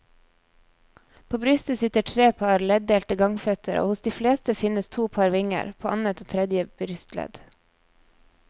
På brystet sitter tre par leddelte gangføtter og hos de fleste finnes to par vinger, på annet og tredje brystledd.